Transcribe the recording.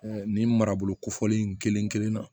nin maraboloko fɔlen in kelen kelen na